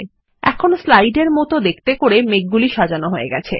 এখন স্লাইড এর মতন দেখাতে করে মেঘগুলি সাজানো সহজ হয়ে গেছে